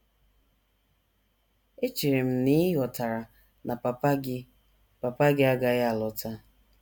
Echere m na ị ghọtara na papa gị papa gị agaghị alọta. ”